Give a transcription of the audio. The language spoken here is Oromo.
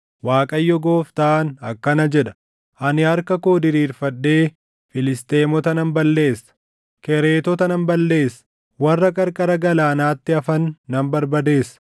Waaqayyo Gooftaan akkana jedha: Ani harka koo diriirfadhee Filisxeemota nan balleessa; Kereetota nan balleessa; warra qarqara galaanaatti hafan nan barbadeessa.